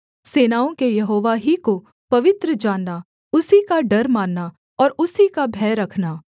सेनाओं के यहोवा ही को पवित्र जानना उसी का डर मानना और उसी का भय रखना